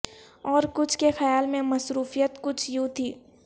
اور کچھ کے خیال میں مصروفیت کچھ یوں تھی